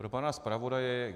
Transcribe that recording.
Pro pana zpravodaje.